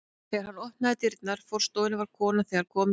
Þegar hann opnaði dyrnar að forstofunni var konan þegar komin inn.